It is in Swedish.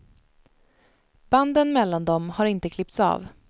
Banden mellan dem har inte klippts av.